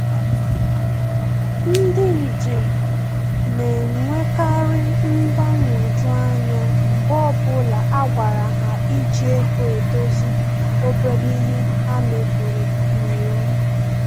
Ndị njem na-enwekari mgbanwoju anya mgbe ọbụla a gwara ha iji ego edozi obere ihe ha mebiri n'iwu